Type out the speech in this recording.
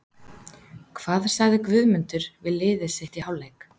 Hvað sagði Guðmundur við liðið sitt í hálfleik?